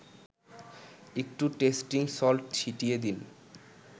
একটু tasting salt ছিটিয়ে দিন